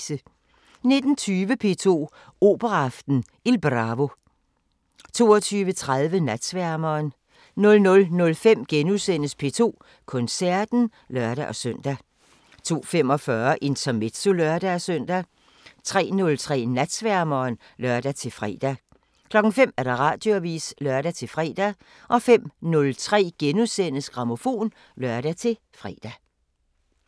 19:20: P2 Operaaften: Il Bravo 22:30: Natsværmeren 00:05: P2 Koncerten *(lør-søn) 02:45: Intermezzo (lør-søn) 03:03: Natsværmeren (lør-fre) 05:00: Radioavisen (lør-fre) 05:03: Grammofon *(lør-fre)